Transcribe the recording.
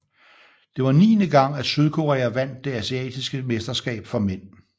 Det var niende gang at Sydkorea vandt det asiatiske mesterskab for mænd